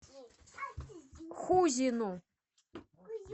хузину